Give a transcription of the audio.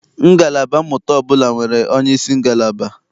Ngalaba mmụta ọbụla nwere onyeisi ngalaba.